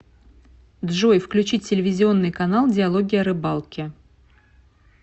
джой включить телевизионный канал диалоги о рыбалке